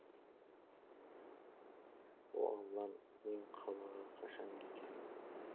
о аллам мен қалаға қашан кетем